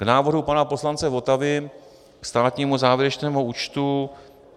K návrhu pana poslance Votavy, ke státnímu závěrečnému účtu.